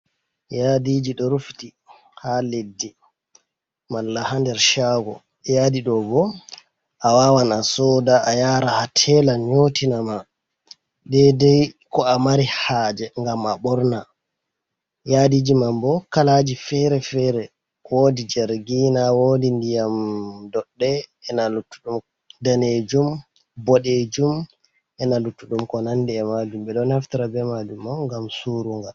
Yadiji ɗo rufiti ha leddi mala ha nder chago yadi ɗo bo a wawan a soda a yara ha tela nyotina ma ɗedai ko a mari haje gam a ɓorna, yadiji mam bo kalaji fere-fere wodi jargiina, wodi ndiyam doɗɗe, ena luttuɗum danejum boɗejum, ena luttudum ko nandi e majum, ɓeɗo naftara be majum on ngam surugal.